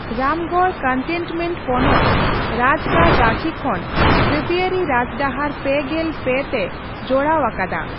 Ramgarh cantonment ᱯᱚᱱᱚᱛ ᱨᱟᱡᱽᱜᱟᱲ ᱨᱟᱺᱪᱤ ᱠᱷᱚᱱ ᱡᱟᱹᱛᱤᱭᱟᱹᱨᱤ ᱨᱟᱡᱽᱰᱟᱦᱟᱨ ᱯᱮᱜᱮᱞ ᱯᱮ ᱛᱮ ᱡᱚᱲᱟᱣ ᱟᱠᱟᱫᱟ ᱾